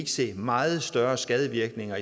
se meget større skadevirkninger